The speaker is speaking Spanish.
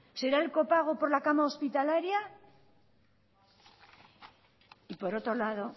será el copago por la cama hospitalaria y por otro lado